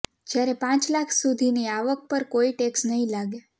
જ્યારે પાંચ લાખ સુધની આવક પર કોઈ ટેક્સ નહીં લાગે